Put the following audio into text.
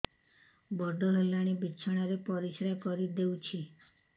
ବଡ଼ ହେଲାଣି ବିଛଣା ରେ ପରିସ୍ରା କରିଦେଉଛି